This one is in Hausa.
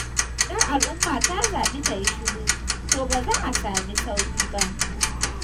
Idan al’umma ta zaɓi ta yi shiru, to ba za a sami sauyi ba.